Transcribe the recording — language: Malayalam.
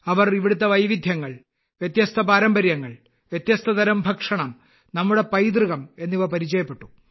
അവർ ഇവിടുത്തെ വൈവിധ്യങ്ങൾ വ്യത്യസ്ത പാരമ്പര്യങ്ങൾ വ്യത്യസ്തതരം ഭക്ഷണം നമ്മുടെ പൈതൃകം എന്നിവ പരിചയപ്പെട്ടു